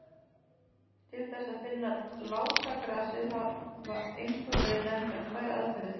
Til þess að finna lásagrasið hafa einkum verið nefndar tvær aðferðir.